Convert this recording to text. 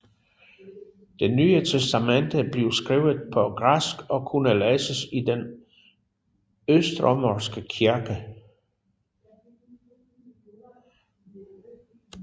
Det Nye Testamente blev skrevet på græsk og kunne læses i den østromerske kirke